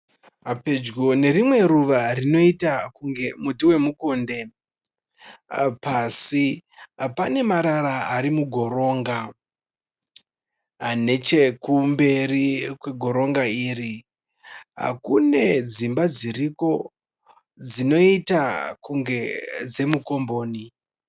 Pedyo nerimwe ruva rinoita kunge muti wemukonde. Pasi pane marara arimugoronga. Nechekumberi kwegoronga iri kune dzimba dziriko dzinoita kunge dzemukomboni.